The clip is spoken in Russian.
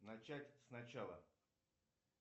начать сначала